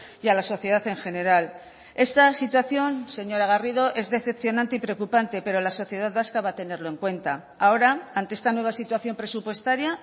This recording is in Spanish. y a la sociedad en general esta situación señora garrido es decepcionante y preocupante pero la sociedad vasca va a tenerlo en cuenta ahora ante esta nueva situación presupuestaria